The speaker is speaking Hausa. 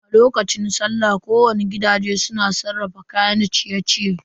A lokacin sallah gidaje dayawa su na sarrafa kayan ciye-ciye.